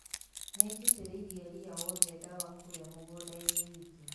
nĩnjitĩrĩirie rĩya wothe ndawa kũrĩa mũgũndainĩ wĩtũ